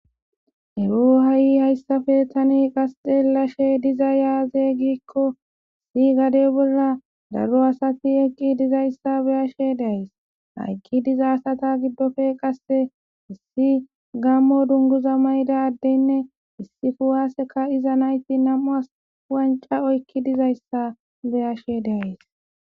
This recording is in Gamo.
ero ha7i hayssafe tani qasxellashe diza aaze gikko issi gadey bolla daro asati eqqi dizayssa beyashe days hayqki diza asata giddofe qasse issi gammo dunguza mayda addeynne issi kuwaaseka iza nayti nam7uas wanca oykki dizayssa beyashe daays